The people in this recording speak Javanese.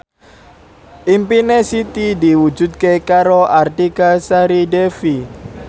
impine Siti diwujudke karo Artika Sari Devi